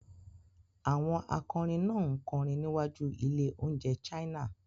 Àwọn akọrin náà ń kọrin níwájú ilé-oúnjẹ China.